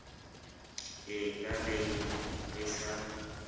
e ka beng e sa